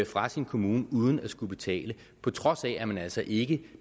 fra sin kommune uden at skulle betale på trods af at man altså ikke